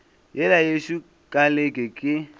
yela yešo ka leke ke